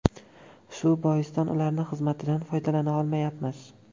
Shu boisdan ularning xizmatidan foydalana olmayapmiz.